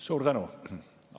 Suur tänu!